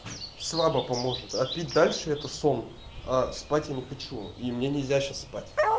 слабо поможет а пить дальше это сон а спать я не хочу и мне нельзя сейчас спать